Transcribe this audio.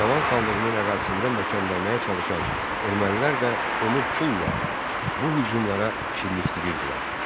İrəvan xanlığının ərazisində möhkəmlənməyə çalışan ermənilər də onu pulla bu hücumlara şirnikdirirdilər.